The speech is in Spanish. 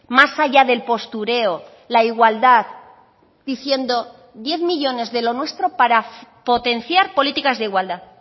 más allá del postureo la igualdad diciendo diez millónes de lo nuestro para potenciar políticas de igualdad